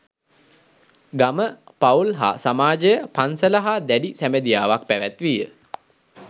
ගම, පවුල් හා සමාජය පන්සල හා දැඬි සැබැඳියාවක් පැවැත්විය.